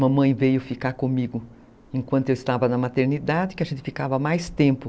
Mamãe veio ficar comigo enquanto eu estava na maternidade, que a gente ficava mais tempo.